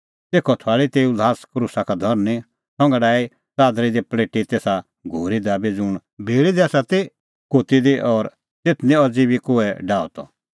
तेखअ थुआल़ी तेऊ ल्हास क्रूसा का धरनीं संघा डाही च़ादरा दी पल़ेटी तेसा घोरी दाबी ज़ुंण भिल़ी दी ती कोती दी और तेथ निं अज़ी बी कोहै डाहअ त